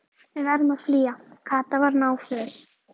Við verðum að flýja. Kata var náföl.